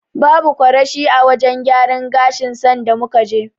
Babu kwarashi a wajen gyaran gashin sanda muka je.